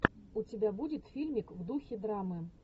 у тебя будет фильмик в духе драмы